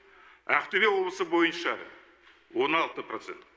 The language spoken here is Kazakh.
ақтөбе облысы бойынша он алты процент